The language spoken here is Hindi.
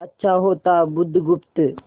अच्छा होता बुधगुप्त